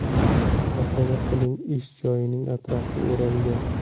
Tasavvur qiling, ish joyining atrofi o‘ralgan.